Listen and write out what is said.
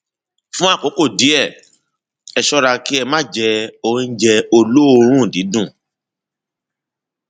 fún àkókò díẹ ẹ ṣọra kí ẹ má jẹ oúnjẹ olóòórùn dídùn